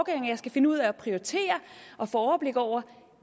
jeg skal finde ud af at prioritere og få overblik over